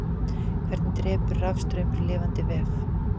hvernig drepur rafstraumur lifandi vef